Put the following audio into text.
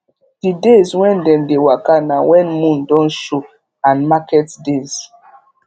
d days when dem dey waka na when moon don show and market days